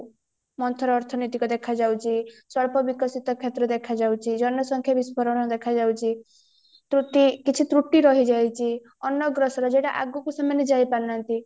ମନ୍ଥର ଅର୍ଥନୈତିକ ଦେଖାଯାଉଚି ସ୍ୱଳ୍ପ ବିକଶିତ କ୍ଷେତ୍ର ଦେଖା ଯାଉଚି ଜନ ସଂଖ୍ୟା ବିସ୍ଫୋରଣ ଦେଖା ଯାଉଚି ତ୍ରୁଟି କିଛି ତ୍ରୁଟି ରହିଯାଇଛି ଅନ୍ନଅଗ୍ରସର ଯୋଉଟା ଆଗକୁ ସେମାନେ ଯାଇପାରୁନାହାନ୍ତି